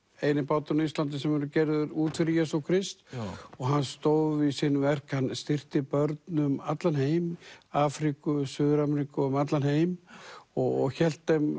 eini báturinn á Íslandi sem hefur verið gerður út fyrir Jesú Krist og hann stóð við sín verk hann styrkti börn um allan heim Afríku Suður Ameríku og um allan heim og hélt þeim